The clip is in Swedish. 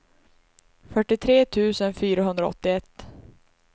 fyrtiotre tusen fyrahundraåttioett